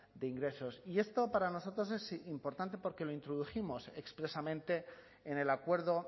de ingresos y esto para nosotros es importante porque lo introdujimos expresamente en el acuerdo